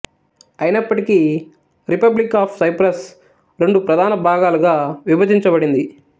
అయినప్పటికీ republic of Cyprus రెండు ప్రధాన భాగాలుగా విభజించబడింది